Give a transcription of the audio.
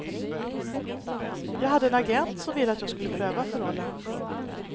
Jag hade en agent som ville att jag skulle pröva för rollen.